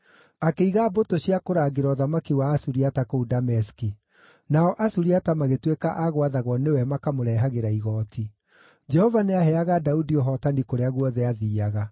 Akĩiga mbũtũ cia kũrangĩra ũthamaki wa Asuriata kũu Dameski. Nao Asuriata magĩtuĩka a gwathagwo nĩwe makamũrehagĩra igooti. Jehova nĩaheaga Daudi ũhootani kũrĩa guothe aathiiaga.